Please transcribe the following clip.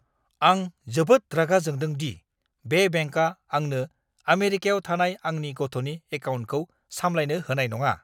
आं जोबोद रागा जोंदों दि बे बेंकआ आंनो आमेरिकायाव थानाय आंनि गथ'नि एकाउन्टखौ सामलायनो होनाय नङा!